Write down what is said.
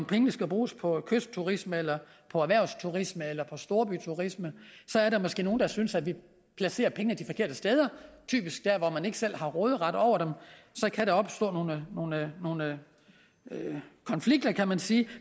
pengene skal bruges på kystturisme eller på erhvervsturisme eller på storbyturisme der er måske nogle der synes at vi placerer pengene de forkerte steder typisk dér hvor man ikke selv har råderet over dem og så kan der opstå nogle konflikter kan man sige